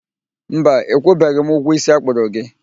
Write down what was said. Mba, ịkwụbeghị m ụgwọ isi akpụrụ gị